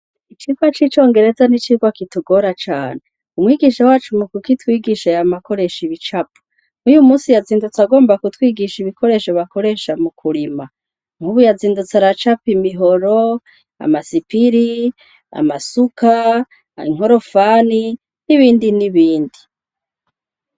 Icigwa c'icongereza ni icigwa kitugora cane. Umwigisha wacu mukukitwigisha yama akoresha ibicapo. N'uyu musi yazindutse agomba kutwigisha ibikoresho bakoresha mukurima. Nk'ubu yazindutse aracapa imihoro, amasipiri, amasuka, inkorofani n'ibindi n'ibindi.